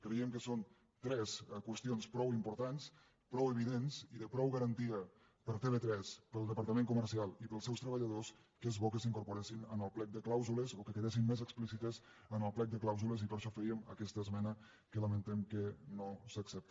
creiem que són tres qüestions prou importants prou evidents i de prou garantia per a tv3 per al departament comercial i per als seus treballadors que és bo que s’incorporessin en el plec de clàusules o que quedessin més explícites en el plec de clàusules i per això fèiem aquesta esmena que lamentem que no s’accepti